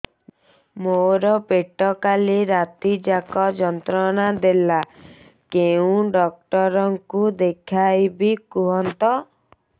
ମୋର ପେଟ କାଲି ରାତି ଯାକ ଯନ୍ତ୍ରଣା ଦେଲା କେଉଁ ଡକ୍ଟର ଙ୍କୁ ଦେଖାଇବି କୁହନ୍ତ